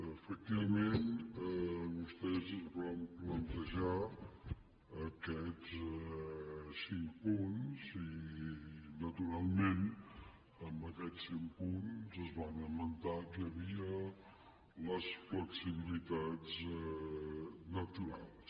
efectivament vostès ens van plantejar aquests cinc punts i naturalment en aquests cinc punts es va esmentar que hi havia les flexibilitats naturals